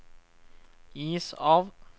is av